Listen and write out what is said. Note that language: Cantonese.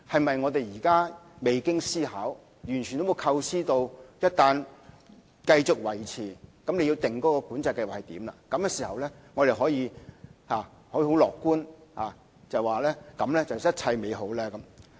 是不是現時我們未經思考，完全沒有構思一旦繼續維持計劃，因而要訂出計劃的詳情，這樣便可以樂觀地說句一切美好呢？